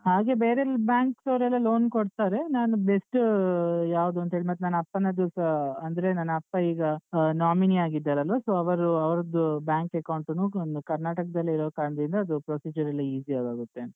ಹಾಗೆ ಬೇರೆ banks ಅವ್ರೆಲ್ಲ loan ಕೊಡ್ತಾರೆ ನಾನು best ಯಾವ್ದು ಅಂತ್ಹೇಳಿ ಮತ್ತ್ ನನ್ನ್ ಅಪ್ಪನದ್ದುಸ ಅಂದ್ರೆ ನನ್ನ ಅಪ್ಪ ಈಗ ಆ nominee ಆಗಿದ್ದರಲ್ವಾ so ಅವರು ಅವರದ್ದು bank account ನು ಕರ್ನಾಟಕ್ದಲ್ಲೇ ಇರೋ ಕಾರಣದಿಂದ ಅದು procedure ಎಲ್ಲ easy ಆಗ್ ಆಗುತ್ತೆ.